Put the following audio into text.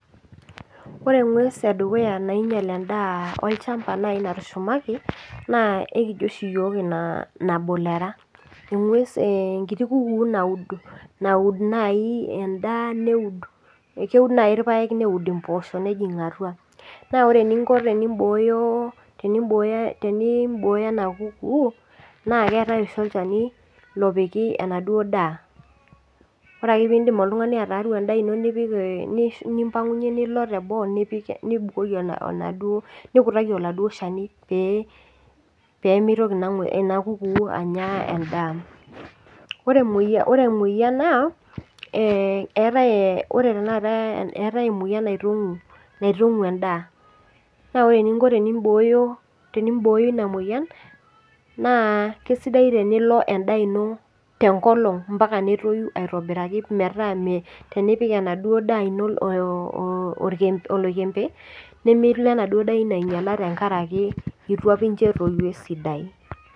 Ore eng'ues edukuya nainyal edaa olchamba nai natushamiki naa ekina ikojo oshi iyiok inaa namu ilera. Eng'ues naa enkiti kuku naaud naji enda keud naji irpake neud imposho nejing' atua. Naa ore eninko pee iboyo teniboyo ena kuku naa ketaai entoki naji napiki enaduo data. Ore Ake pidim oltung'ani aitayu edaa into nipik nitayu nilo teboo nipik nibukoki enaduoo oladuo Shani pee mitoki naa ena kuku ainyaa edaa. Ore emoyian naa etae tenakata etae emoyian naitong'u edaa naa ore ininko teniboyo ina moyian naa keisidai tenilo edaa into tenkolong' ompaka netoyu aitobirakii meeta tenipik ena duo daa into oloikembe nemeitoki edaa into anyala amu eitu apaa inch etoyu esidai.